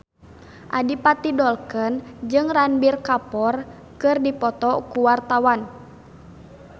Adipati Dolken jeung Ranbir Kapoor keur dipoto ku wartawan